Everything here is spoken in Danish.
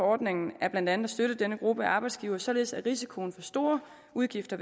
ordning var blandt andet at støtte denne gruppe af arbejdsgivere således at risikoen for store udgifter